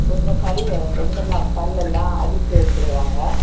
கொஞ்சம் கல்லு இந்த இன்டெர்லாக் கல்லேல்லா அடுக்கி வச்சிருக்காங்க.